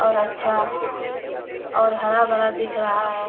और अच्छा और हरा-भरा दिख रहा है